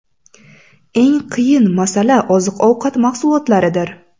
Eng qiyin masala oziq ovqat mahsulotlaridir.